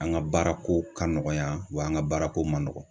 An ga baarako ka nɔgɔya wa an ga baarako ma nɔgɔn